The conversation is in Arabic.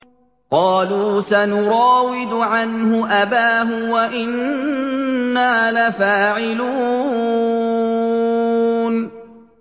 قَالُوا سَنُرَاوِدُ عَنْهُ أَبَاهُ وَإِنَّا لَفَاعِلُونَ